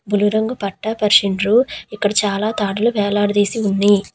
బులుగు రంగు పట్ట పరిచిండ్రు. ఇక్కడ చాలా తాడ్లు వేలాడదీసి ఉన్నయ్.